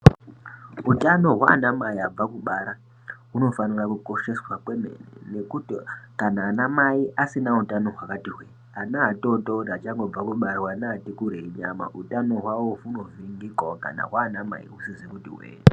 Utano hwaanamai abva kubara, hunofanira kukosheswa kwemene, ngekuti kana anamai asina utano hwakati hwee, ana atotori achangobva kubarwa neati kurei nyana, utano hwavo hunoningirikawo kana hwaanamai husizi kuti hwee.